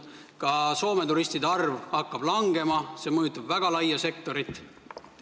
Ka Soome turistide arv hakkab langema ja see mõjutab väga laia sektorit.